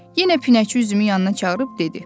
Yenə pinəçi üzümün yanına çağırıb dedi: